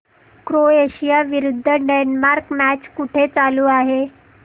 Croatia विरुद्ध Denmark match कुठे चालू आहे